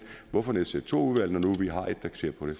hvorfor nedsætte to udvalg når nu vi har et der ser på det